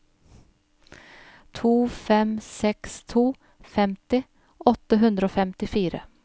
to fem seks to femti åtte hundre og femtifire